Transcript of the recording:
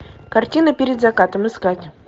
картина перед закатом искать